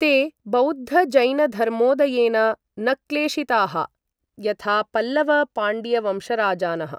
ते बौद्धजैनधर्मोदयेन न क्लेशिताः, यथा पल्लव पाण्ड्यवंशराजानः।